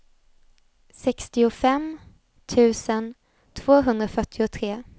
sextiofem tusen tvåhundrafyrtiotre